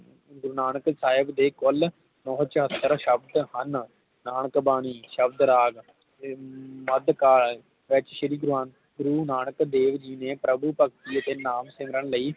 ਗੁਰੂ ਨਾਨਕ ਸਾਹਿਬ ਦੇ ਕੁਲ ਨੌ ਸੌ ਚੌਹਤਰ ਸ਼ਬਦ ਹਨ ਨਾਨਕ ਬਾਣੀ ਸ਼ਬਦ ਰਾਗ ਅਧਕਾਰ ਵਿਚ ਸ਼੍ਰੀ ਗੁਰੂ ਗ੍ਰੰਥ ਗੁਰੂ ਨਾਨਕ ਦੇਵ ਜੀ ਦੀ ਪ੍ਰਭੂ ਭਕਤੀ ਤੇ ਨਾਮ ਸਿਮਰਨ ਲਈ